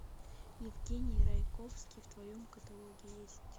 евгений райковский в твоем каталоге есть